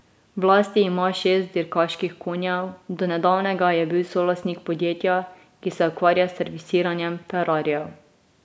V lasti ima šest dirkaških konjev, do nedavnega je bil solastnik podjetja, ki se ukvarja s servisiranjem ferrarijev.